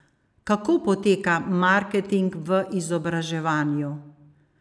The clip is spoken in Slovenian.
Kako poteka marketing v izobraževanju?